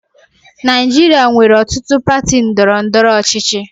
Naijiria nwere ọtụtụ pati ndọrọ ndọrọ ọchịchị.